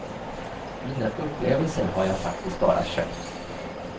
Mina upplevelser har jag faktiskt bara köpt.